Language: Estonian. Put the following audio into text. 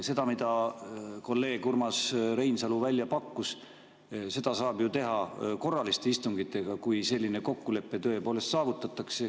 Seda, mida kolleeg Urmas Reinsalu välja pakkus, saab ju teha korralistel istungitel, kui selline kokkulepe tõepoolest saavutatakse.